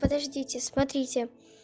подождите смотрите